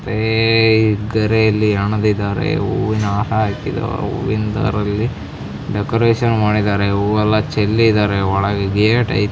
ಹಣದಿದ್ದಾರೆ ಹೂವಿನ ಹಾರ ಹಾಕಿದ್ದಾರೆ ಹೂವಿನ ದಾರದಲ್ಲಿ ಡೆಕೋರೇಷನ್ ಮಾಡಿದ್ದಾರೆ ಹೂವೆಲ್ಲಾ ಚೆಲ್ಲಿದ್ದಾರೆ ಒಳಗೆ ಗೆಟ್ ಐತೆ --